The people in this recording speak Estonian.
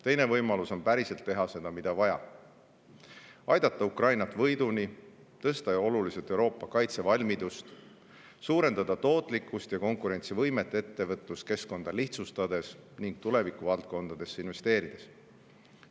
Teine võimalus on päriselt teha seda, mida vaja: aidata Ukraina võiduni; tõsta oluliselt Euroopa kaitsevalmidust; suurendada tootlikkust ja konkurentsivõimet ettevõtluskeskkonda lihtsustades ning tulevikuvaldkondadesse investeerides.